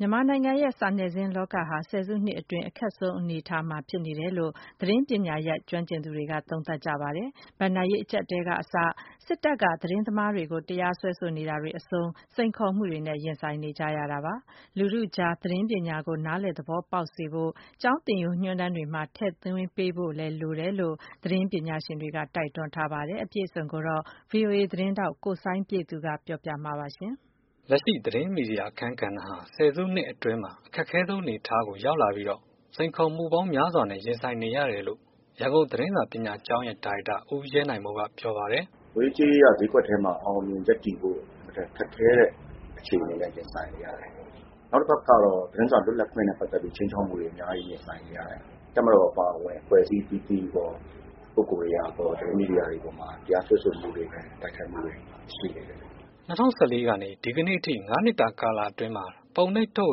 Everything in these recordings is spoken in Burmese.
မြန်မာနိုင်ငံရဲ့စတုတ္ထမဏ္ဍိုင် သတင်းနဲ့ စာနယ်ဇင်း လောကဟာ ဆယ်စုနှစ်အတွင်း အခက်ခဲဆုံး အနေအထားနဲ့ ရင်ဆိုင်နေရတယ်လို့ သတင်းပညာရပ် ကျွမ်းကျင်သူတွေက သုံးသပ်ကြပါတယ်။ ဘဏ္ဍာရေး အကျပ်အတည်းက အစ၊ စစ်တပ်က သတင်းမီဒီယာ သမားတွေကို တရားစွဲဆိုနေတာတွေ အဆုံး စိန်ခေါ်မှုတွေနဲ့လည်း ရင်ဆိုင်နေရတာ ဖြစ်ပါတယ်။ ပြည်သူလူထု အကြား သတင်းပညာကို နားလည် သဘောပေါက်စေဖို့ ကျောင်း သင်ရိုးညွှန်းတမ်းတွေမှာ ထည့်သွင်းပေးဖို့ လိုပါတယ် လို့လည်း သတင်း ပညာရှင်တွေက တိုက်တွန်းပါတယ်။ VOA သတင်းထောက် စိုင်းပြည့်သူကပြောပြပေးမှာပါ။ လက်ရှိ သတင်းမီဒီယာ ရဲ့ အခန်းကဏ္ဍဟာ ဆယ်စုနှစ်အတွင်း အခက်ခဲဆုံး အနေအထား ကို ရောက်လာ ပြီးတော့ စိန်ခေါ်မှုပေါင်းများစွာနဲ့ ရင်ဆိုင်နေရတယ်လို့ ရန်ကုန် သတင်းစာပညာကျောင်းရဲ့ ဒါရိုက်တာ ဦးရဲနိုင်မိုး ပြောပါတယ်။ “ငွေရေးကြေးရေးက ဈေးကွက်ထဲမှာ အောင်အောင်မြင်မြင်ရပ်တည်ဖို့ အင်မတန်ခက်ခဲတဲ့ အခြေအနေမှာ ရင်ဆိုင်နေရတယ် နောက်တစ်ခုကတော့ သတင်းစာ လွတ်လပ်ခွင့်နဲ့ ပတ်သတ်ပြီးတော့ ခြိမ်းခြောက်မှုတွေ အများကြီး ရင်ဆိုင်နေရတယ်။ တပ်မတော် အပါအဝင် အဖွဲ့အစည်း အသီးသီးကော ပုဂ္ဂိုလ်တွေကကော သတင်းမီဒီယာတွေ အပေါ်မှာ တရားစွဲဆိုမှုတွေ တိုက်ခိုက်မှုတွေ ရှိနေတယ်။ ” ၂၀၁၄ ကနေ ဒီကနေ့ ထိ ငါးနှစ်တာကာလအတွင်း မှာ ပုံနှိပ်/ထုတ်ေ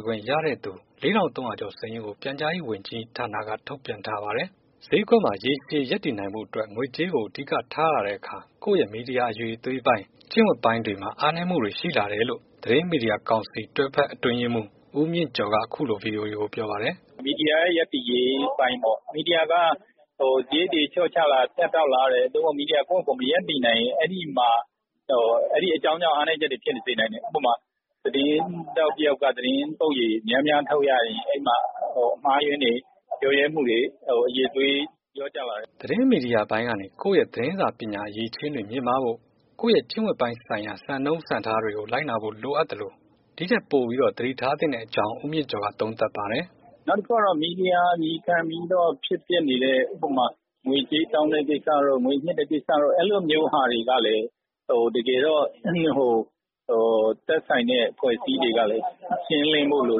၀ ခွင့် ရတဲ့သူ လေးထောင်သုံးရာကျော် စာရင်းကိုပြန်ကြားရေး ဝန်ကြီးဌာန က ထုတ်ပြန်ထားပါတယ်။ ဈေးကွက်မှာ ရေရှည် ရပ်တည်နိုင်ဖို့အတွက် ငွေကြေး ကို အဓိကထားလာတဲ့အခါ ကိုယ့်ရဲ့ မီဒီယာ အရည်အသွေးပိုင်း၊ ကျင့်ဝတ် ပိုင်းတွေ မှာ အားနည်းမှုတွေ ရှိလာတယ်လို့ သတင်းမီဒီယာကောင်စီ တွဲဖက် အတွင်းရေးမှူး ဦးမြင့်ကျော်က အခုလို VOA ကို ပြောပါတယ်။ “မီဒီယာရဲ့ ရပ်တည်ရေးအပိုင်းပေါ့ မီဒီယာက စရိတ်တွေလေ ျှာ့ချလာ ဖြတ်တောက်လာတယ်။ မီဒီယာကိုယ့်ဟာကိုယ် မရပ်တည်နိုင်ရင် အဲဒီမှာအဲဒီ အကြောင်းကြောင့် အားနည်းချက်တွေဖြစ်စေနိုင်တယ်။ ဥပမာ သတင်းထောက်တစ်ယောက်က သတင်းပုဒ်ရေ များများထုတ်ရရင် အဲဒီမှာ အမှားအယွင်းတွေ လျော့ရဲမှုတွေ အရည်အသွေး လျော့ကျလာတယ်။ ” သတင်းမီဒီယာပိုင်း ကနေ ကိုယ့်ရဲ့ သတင်းစာပညာ အရည်အချင်းတွေ မြင့်မားဖို့ ၊ကိုယ့်ရဲ့ကျင့်ဝတ် ပိုင်းဆိုင်ရာ စံနှုန်းစံထားတွေကို လိုက်နာဖို့ လိုအပ်သလို ဒီထက် ပိုပြီး တော့ သတိထား သင့်တဲ့ အကြောင်း ဦးမြင့်ကျော်က သုံးသပ်ပါတယ်။ “နောက်တစ်ခုကတော့ မီဒီယာ အမည်ခံပြီးတော့ ဖြစ်ပျက်နေတဲ့ ဥပမာ ငွေကြေးတောင်းတဲ့ ကိစ္စတို့ ငွေညှစ်တဲ့ ကိစ္စတို့ အဲ့လိုမျိုးဟာတွေ ကလည်း ဟို သက်ဆိုင်တဲ့ အဖွဲ့အစည်း တွေကလည်း ရှင်းလင်းဖို့လို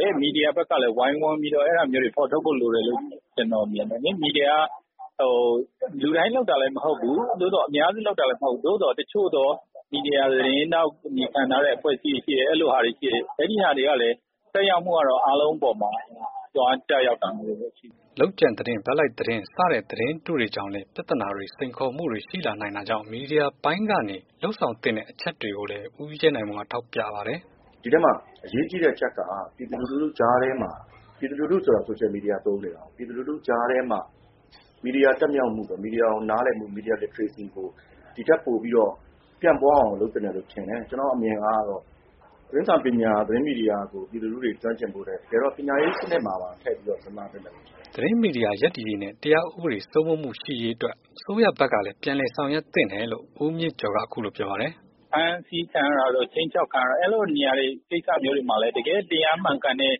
တယ်။ မီဒီယာဘက်ကလည်း ဝိုင်းဝန်းပြီးတော့ အဲ့ဒါမျိုးတွေ ဖော်ထုတ်ဖို့ လိုတယ်လို့ ကျနော်မြင်တယ်လေ။ မီဒီယာက ဟို လူတိုင်းလုပ်တာလဲ မဟုတ်ဘူး။ သို့သော် အများစု လုပ်တာလည်း မဟုတ်ဘူး။ သို့သော် တစ်ချို့သော မီဒီယာ သတင်းထောက် အမည်ခံထားတဲ့ အဖွဲ့အစည်းတွေ ရှိတယ်။ အဲလိုဟာတွေရှိတယ်။ အဲဒီဟာတွေကလည်း သက်ရောက်မှုက တော့ အားလုံးအပေါ်မှာ သွားကျ ရောက်တာ မျိုးတွေ လည်း ရှိတယ်။” လုပ်ကြံသတင်း၊ ဘက်လိုက်သတင်း စတဲ့ သတင်းတုတွေ ကြောင့်လည်း ပြဿနာ တွေ၊ စိန်ခေါ်မှုတွေ ရှိလာနိုင်တာကြောင့် မီဒီယာပိုင်း ကနေ လုပ်ဆောင်သင့်တဲ့ အချက်တွေ ကိုလည်း ဦးရဲနိုင်မိုးက ထောက် ပြပါတယ်။ “ ဒီထဲမှာ အရေးကြီးတဲ့ အချက်က ပြည်သူလူထုကြားထဲမှာ ပြည်သူလူထုဆိုတာ ဆိုရှယ် မီဒီယာ ကိုသုံးနေတာကိုး။ ပြည်သူလူထုကြားထဲမှာ မီဒီယာ တက်မြောက်မှု မီဒီယာကို နားလည်မှု မီဒီယာ Literacyကို ဒီ့ထက်ပိုပြီးတော့ ပျံ့ပွားအောင် လုပ်သင့်တယ်လို့တော့ ထင်တယ်။ ကျနော့် အမြင်အရတော့ သတင်းစာပညာ သတင်းမီဒီယာကို ပြည်သူလူထုတွေ ကျွမ်းကျင်ဖို့ထက် တကယ်တော့ ပညာရေးစနစ်မှာပါ ထည့်ပြီးတော့ စဉ်းစားသင့်တယ်လို့ ထင်တယ်။ ” သတင်းမီဒီယာ ရပ်တည်ရေး နဲ့ တရား ဥပဒေ စိုးမိုးမှုရှိရေး အတွက် အစိုးရ ဘက်ကလည်း ပြန်လည် ဆောင်ရွက်သင့်တယ်လို့ ဦးမြင့်ကျော် က အခုလိုပြောပါတယ်။ “ဖမ်းဆီးခံရတာတို့ ခြိမ်းခြောက်က်ခံရတာတို့အဲလိုနေရာတွေ ကိစ္စမျိုး တွေမှာလည်း တကယ့် တရား မှန်ကန်တဲ့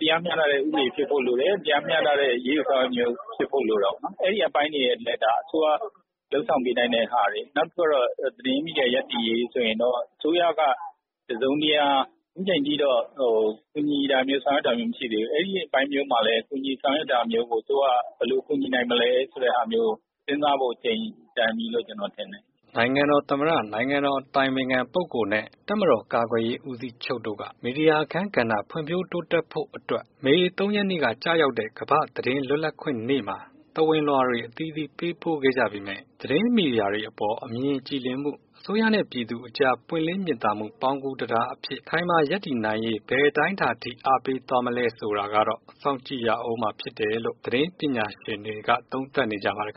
တရားမျှတတဲ့ ဥပဒေဖြစ်ဖို့ လိုတယ်။ တရားမျှတတဲ့ အရေးယူဆောင်ရွက်မှု မျိုး ဖြစ်ဖို့လိုတာပေါ့နော်။ အဲ့အပိုင်းတွေလည်း အစိုးရ လုပ်ဆောင်ပေးနိုင်တဲ့ ဟာတွေ နောက်တစ်ခုကတော့ သတင်းမီဒီယာ ရပ်တည်ရေး ဆိုရင်တော့ အစိုးရက ကူညီတာမျိုး ဆောင်ရွက်တာမျိုး မရှိသေးဘူး။ အဲဒီ အပိုင်းမျိုးမှာလည်း ကူညီဆောင်ရွက်တာမျိုးကို အစိုးရက ဘယ်လိုကူညီနိုင်မလဲ ဆိုတဲ့ ဟာမျိုးကို စဉ်းစားဖို့ အချိန်တန်ပြီလို့ ကျနော်ထင်တယ်။” နိုင်ငံတော်သမ္မတ၊ နိုင်ငံတော် အတိုင်ပင်ခံပုဂ္ဂိုလ် နှင့် တပ်မတော် ကာကွယ်ရေး ဦးစီးချုပ် တို့ က မီဒီယာအခန်းကဏ္ဍ ဖွံ့ဖြိုးတိုးတက်ဖို့ အတွက် မေ ၃ ရက်နေ့ က ကျရာက်တဲ့ ကမ္ဘာ့ သတင်းလွတ်လပ်ခွင့်နေ့ မှာ သဝဏ်လွှာတွေ အသီးသီး ပေးပို့ခဲ့ကြပေမယ့် သတင်းမီဒီယာတွေ အပေါ် အမြင်ကြည်လင်မှု၊ အစိုးရနဲ့ ပြည်သူအကြား ပွင့်လင်း မြင်သာမှု ပေါင်းကူးတံတားအဖြစ် အခိုင်အမာဘရပ်တည်နိုင်ရေး ဘယ်အတိုင်းအတာ အထိ အားပေး သွားမလဲ ဆိုတာကတော့ စောင့်ကြည်ကြရဦးမှာ ဖြစ်တယ်လို့ သတင်းပညာရှင်တွေက သုံးသပ် နေကြ ပါတယ်